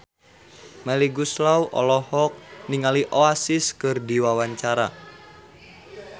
Melly Goeslaw olohok ningali Oasis keur diwawancara